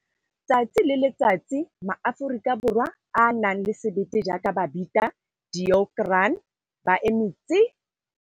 Tsatsi le letsatsi, maAforika Borwa a a nang le sebete jaaka Babita Deokaran ba eme tsi!